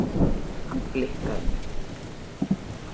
Hann blikkaði mig.